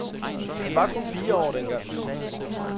Han var kun fire år den gang.